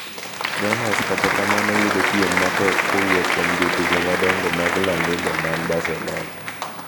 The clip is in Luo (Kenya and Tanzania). Gunners kata kamano yudo piem matek kowuok kuom jotugo madongo mag La Liga man Barcelona.